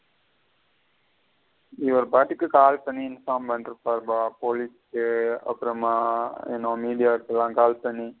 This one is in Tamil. இவருபட்டுக்க call பண்ணி inform பண்ணிட்டு இருபாருப police க்கு அப்புறமா இனொன்னு media க்கு எல்லாம் call பண்ணி.